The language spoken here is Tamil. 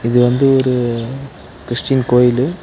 இது வந்து ஒரு கிறிஸ்டியன் கோயிலு.